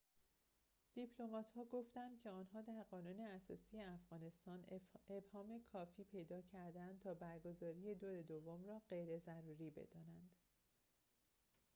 دیپلمات‌ها گفتند که آنها در قانون اساسی افغانستان ابهام کافی پیدا کرده‌اند تا برگزاری دور دوم را غیر ضروری بدانند